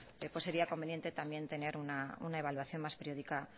pues sería conveniente también tener una evaluación más periódica